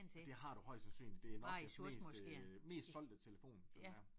Det har du højst sandsynligt det Nokias mest øh mest solgte telefon det her